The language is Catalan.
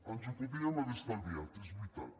ens ho podíem haver estalviat és veritat